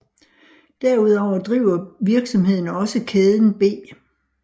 Derudover driver virksomheden også kæden B